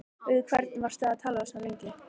Við hvern varstu að tala svona lengi?